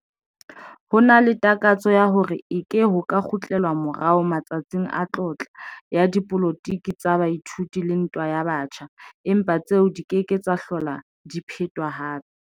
Ho na le takatso ya hore eke ho ka kgutlelwa morao 'matsatsing a tlotla' ya dipolotiki tsa baithuti le ntwa ya batjha, empa tseo di ke ke tsa hlola di phetwa hape.